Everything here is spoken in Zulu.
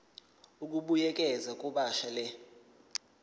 ukubuyekeza kabusha le